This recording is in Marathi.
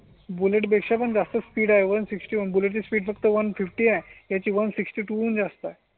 बुलेट पेक्षा पण जास्त स्पीड आहे एक शे साठ मिनिट्स फक्त एक शे पन्नास आहे त्या ची एक शे साठ टून जास्त आहे.